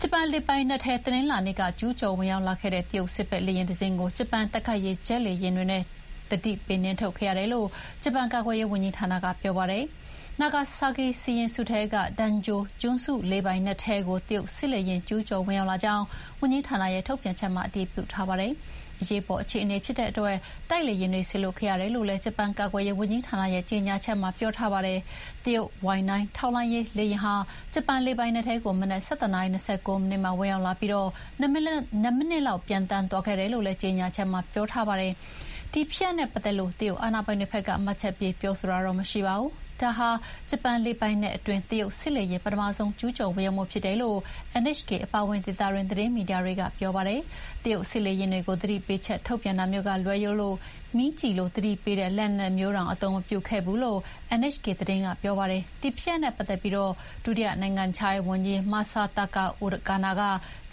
ဂျပန်လေပိုင်နက်ထဲ တနင်္လာနေ့က ကျူးကျော်ဝင်ရောက်လာခဲ့တဲ့ တရုတ်စစ်ဘက်လေယာဥ်တစင်းကို ဂျပန် တိုက်ခိုက်ရေးဂျက်လေယာဥ်တွေနဲ့ သတိပေးနှင်ထုတ်ခဲ့ရတယ်လို့ ဂျပန်ကာကွယ်ရေးဝန်ကြီးဌာနက ပြောပါတယ်။ နာဂါဆာကီစီရင်စုထဲက Danjo ကျွန်းစုလေပိုင်နက်ထဲကို တရုတ်စစ်လေယာဥ်ကျူးကျော် ဝင်ရောက်လာကြောင်း ဝန်ကြီးဌာနရဲ့ထုတ်ပြန်ချက်မှာအတည်ပြုထားပါတယ်။ အရေးပေါ်အခြေအနေဖြစ်တဲ့အတွက် တိုက်လေယာဥ်တွေကို စေလွှတ်ခဲ့ရတယ်လို့လည်း ဂျပန်ကာကွယ်ရေး ဝန်ကြီးဌာနရဲ့ကြေညာချက်မှာပြောထားပါတယ်။ တရုတ်Y-9 ထောက်လှမ်းရေးလေယာဥ်ဟာ ဂျပန်လေပိုင်နက် ထဲကို မနက် ၁၁ နာရီ ၂၉ မိနစ်မှာဝင်ရောက်လာပြီး ၂ မိနစ်လောက် ပျံသန်းသွားခဲ့တယ်လို့လည်း ကြေညာချက်မှာ ဖော်ပြထားပါတယ်။ ဒီဖြစ်ရပ်နဲ့ပတ်သက်လို့ တရုတ်အာဏာပိုင်တွေဘက်က မှတ်ချက်ပေးပြောဆိုတာ မရှိပါဘူး။ ဒါဟာ ဂျပန်လေပိုင်နက်အတွင်း တရုတ်စစ်လေယာဥ်ပထမဆုံးကျူးကျော်ဝင်ရောက်မှုဖြစ်တယ်လို့ NHK အပါအဝင် ဒေသတွင်းသတင်းမီဒီယာတွေက ပြောပါတယ်။တရုတ်စစ်လေယာဥ်ကို သတိပေးချက်ထုတ်ပြန်တာမျိုးကလွဲလို့ မီးကျည်လို သတိပေးတဲ့ လက်နက်မျိုးတွေ အသုံးမပြုခဲ့ဘူးလို့NHK သတင်းက ပြောပါတယ်။ ဒီဖြစ်ရပ်နဲ့ပတ်သက်ပြီး ဒုတိယနိုင်ငံခြားရေးဝန်ကြီး Masataka Okana